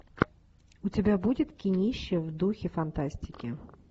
у тебя будет кинище в духе фантастики